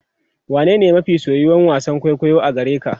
wane ne mafi soyuwan wasan kwaikwayo a gareka?